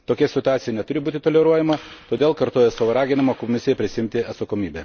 Tokia situacija neturi būti toleruojama, todėl kartoju savo raginimą Komisijai prisiimti atsakomybę.